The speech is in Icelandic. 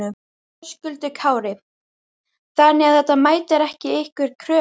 Höskuldur Kári: Þannig að þetta mætir ekki ykkar kröfum?